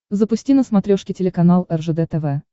запусти на смотрешке телеканал ржд тв